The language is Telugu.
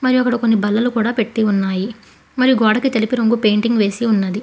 మరి అక్కడ కొన్ని బల్లలు కూడా పెట్టి ఉన్నాయి మరి గోడకు తెలుపు రంగు పెయింటింగ్ వేసి ఉన్నది.